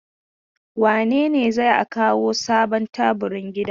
Wane ne zai a kawo sabon taburin gidan?